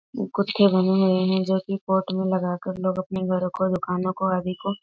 कुछ बने हुए हैं जो कि कोट में लगाकर लोग आपने घरो को दुकानों को आदि को --